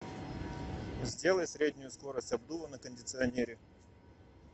сделай среднюю скорость обдува на кондиционере